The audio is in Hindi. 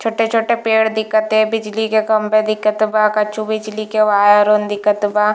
छोटे-छोटे पेड़ दिखत ते बिजली के खम्भे दिखत ते वह कछु बिजली के वायर वन दिखत ते।